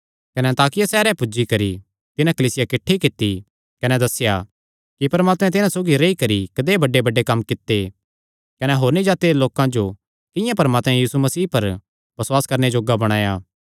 कने अन्ताकिया सैहरे पुज्जी करी तिन्हां कलीसिया किठ्ठी कित्ती कने दस्सेया कि परमात्मैं तिन्हां सौगी रेई करी कदेय बड़ेबड़े कम्म कित्ते कने होरनी जाति दे लोकां जो किंआं परमात्मैं यीशु मसीह पर बसुआस करणे जोग्गा बणाया